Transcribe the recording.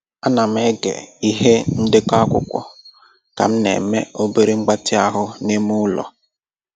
Ana m ege ihe ndekọ akwụkwọ ka m na-eme obere mgbatị ahụ n'ime ụlọ.